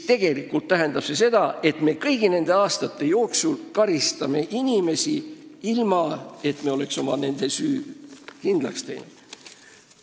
Tegelikult tähendab see ju seda, et me karistame kõigi nende aastate jooksul inimesi, ilma et me oleks nende süü kindlaks teinud.